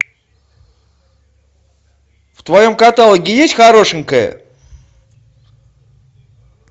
в твоем каталоге есть хорошенькая